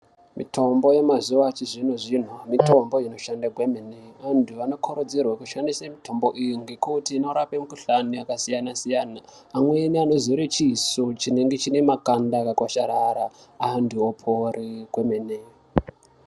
Mitombo yemazuva achizvino-zvino mitombo inoshande kwemene. Antu anokurudzirwa kushandise mitombo iyi ngekuti inorape mikuhlani yakasiyana-siyana. Amweni anozore chiso chinenge chiine makanda akakwasharara antu opore kwemene.